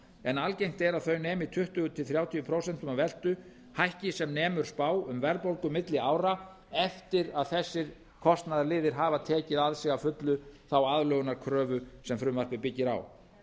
en algengt er að þau nemi um tuttugu til þrjátíu prósent af veltu hækki sem nemur spá um verðbólgu milli ára eftir að þessir kostnaðarliðir hafa tekið á sig að fullu þá aðlögunarkröfu sem frumvarpið byggir á